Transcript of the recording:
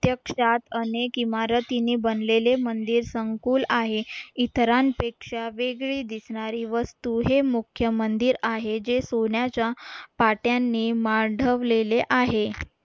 प्रत्यक्षात अनेक इमारतीने बनलेले मंदिर संकुल आहे इतरांपेक्षा वेगळी दिसणारी वस्तू हे मुख्य मंदीर आहे जे सोन्याच्या पाट्यांनी मांडवलेले आहे